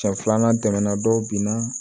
Siɲɛ filanan tɛmɛna dɔw binna